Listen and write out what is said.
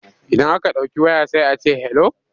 Idan aka ɗauki waya sai a ce 'hello'.